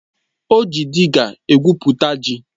O ji dịga egwupụta ji